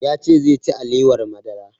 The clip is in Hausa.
Ya ce zai ci alewar madara